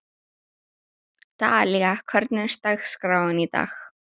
Dalía, hvernig er dagskráin í dag?